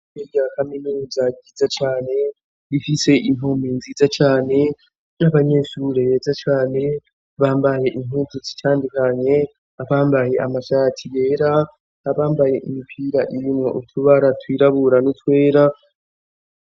rya kaminuza ryiza cane, rifise impome nziza cane n 'abanyeshure beza cane, bambaye impuzu zitandukanye, abambaye amashati yera ,abambaye imipira irimwo utubara twirabura n'utwera.